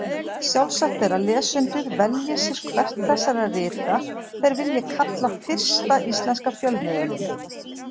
Sjálfsagt er að lesendur velji sér hvert þessara rita þeir vilja kalla fyrsta íslenska fjölmiðilinn.